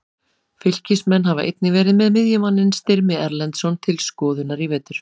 Fylkismenn hafa einnig verið með miðjumanninn Styrmi Erlendsson til skoðunar í vetur.